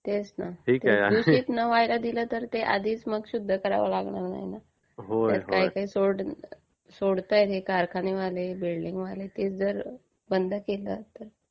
दूषित नाही व्हाळा दिला तर ते शुध्द करावा लागणार नाही ना. काय काय सोडतात हे कारखानीवाले, बिल्डिंगवाले ते जर बंद केलं तर बरं होईल ना.